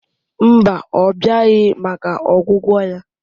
Mba, ọ bịaghị maka ọgwụgwọ ya